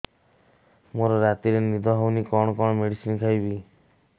ମୋର ରାତିରେ ନିଦ ହଉନି କଣ କଣ ମେଡିସିନ ଖାଇବି